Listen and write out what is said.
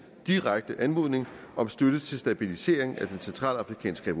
direkte anmodning om støtte til stabilisering af den centralafrikanske